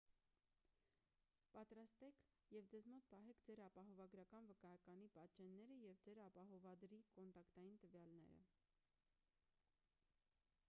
պատրաստեք և ձեզ մոտ պահեք ձեր ապահովագրական վկայականի պատճենները և ձեր ապահովադրի կոնտակտային տվյալները